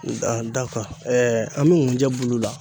an bɛ nkunjɛ bulu la.